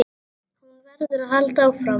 Hún verður að halda áfram.